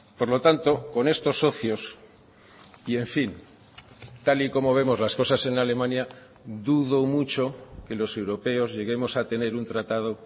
por lo tanto con estos socios y en fin tal y como vemos las cosas en alemania dudo mucho que los europeos lleguemos a tener un tratado